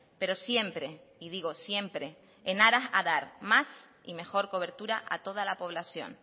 pero siempre y digo siempre en aras de dar más y mejor cobertura a toda la población